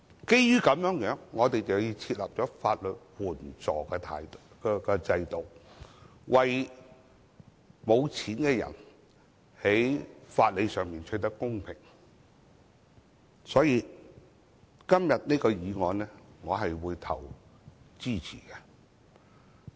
因此，我們設立了法援制度，為沒錢的人在法理上取得公平，所以我會支持今天這項議案。